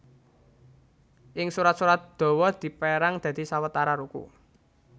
Ing surat surat dawa dipérang dadi sawetara ruku